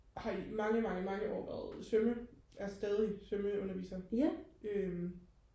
jeg har i mange mange mange år været svømme er stadig svømmeunderviser øhm